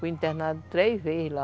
Fui internada três vezes lá.